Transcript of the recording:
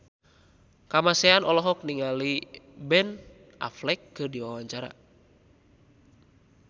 Kamasean olohok ningali Ben Affleck keur diwawancara